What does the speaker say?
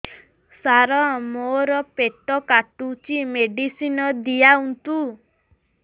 ସାର ମୋର ପେଟ କାଟୁଚି ମେଡିସିନ ଦିଆଉନ୍ତୁ